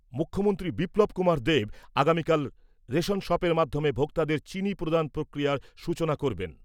মুখ্যমন্ত্রী বিপ্লব কুমার দেব আগামীকাল রেশন শপের মাধ্যমে ভোক্তাদের চিনি প্রদান প্রক্রিয়ার সূচনা করবেন